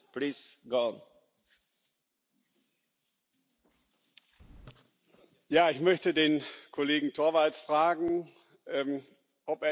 Ich möchte den Kollegen Torvalds fragen, ob er nicht mitgekriegt hat, dass der CO2 Preis im ETS auf über 20 Euro gestiegen ist.